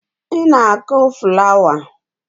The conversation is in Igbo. Ị na-akụ flawa